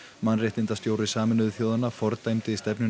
mannréttindastjóri Sameinuðu þjóðanna fordæmdi stefnuna